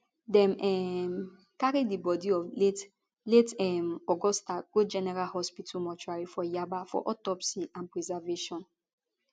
dem um carry di body of late late um augusta go general hospital mortuary for yaba for autopsy and preservation